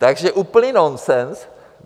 Takže úplný nonsens.